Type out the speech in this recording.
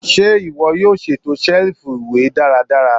Ṣe iwọ yoo ṣeto selifu iwe daradara?